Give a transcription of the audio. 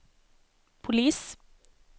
polis